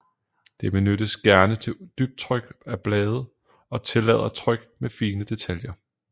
Det benyttes gerne til dybtryk af blade og tillader tryk med fine detaljer